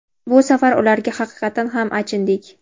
Bu safar ularga haqiqatan ham achindik.